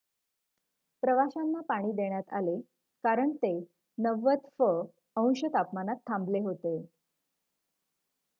प्रवाशांना पाणी देण्यात आले कारण ते 90फ- अंश तापमानात थांबले होते